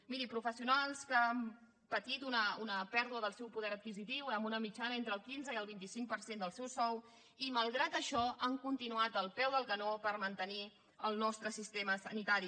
miri professionals que han patit una pèrdua del seu poder adquisitiu amb una mitjana entre el quinze i el vint cinc per cent del seu sou i que malgrat això han continuat al peu del canó per mantenir el nostre sistema sanitari